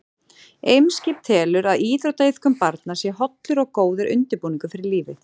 Eimskip telur að íþróttaiðkun barna sé hollur og góður undirbúningur fyrir lífið.